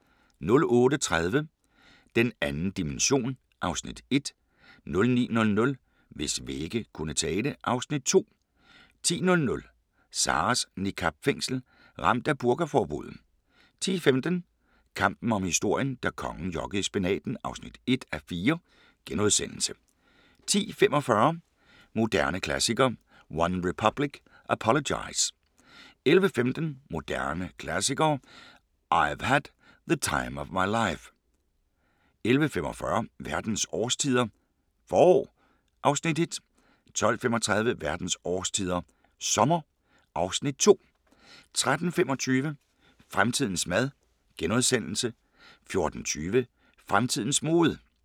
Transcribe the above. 08:30: Den 2. dimension (Afs. 1) 09:00: Hvis vægge kunne tale (Afs. 2) 10:00: Sarahs niqab-fængsel – ramt af burkaforbuddet 10:15: Kampen om historien – da kongen jokkede i spinaten (1:4)* 10:45: Moderne Klassikere: One Republic – Apologize 11:15: Moderne Klassikere: (I´ve had) The Time Of My Life 11:45: Verdens årstider – forår (Afs. 1) 12:35: Verdens årstider – sommer (Afs. 2) 13:25: Fremtidens mad * 14:20: Fremtidens mode